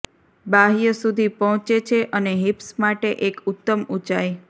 બાહ્ય સુધી પહોંચે છે અને હિપ્સ માટે એક ઉત્તમ ઉંચાઇ